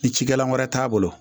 Ni cikɛla wɛrɛ t'a bolo